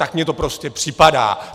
Tak mi to prostě připadá.